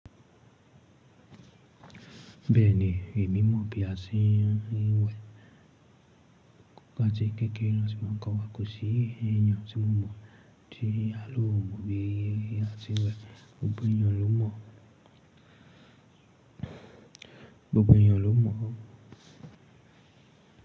Bẹ́ẹ̀ni, èmi mọ̀ bí a ṣe ń wẹ̀. Làtí kékeré ni mọ̀ kọ́ wa, kò sí èèyàn tí mọ̀ mọ̀ tí a ló mọ̀ bí a ṣe ń wẹ̀. Gbogbo èèyàn ló mọ̀. Gbogbo èèyàn ló mọ̀.